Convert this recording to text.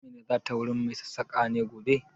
Amina za ta wurin mai sassaƙa ne gobe?